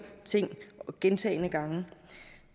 ting gentagne gange